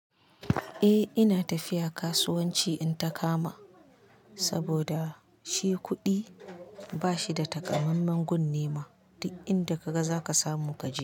Eh ina tafiya kasuwanci in ta kama, saboda shi kuɗi ba shi da takammamen gun nema, duk inda ka ga za ka samu ka je.